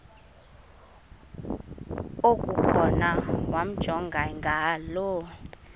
okukhona wamjongay ngaloo